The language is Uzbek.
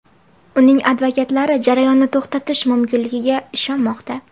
Uning advokatlari jarayonni to‘xtatish mumkinligiga ishonmoqda.